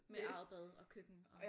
Med eget bad og køkken og?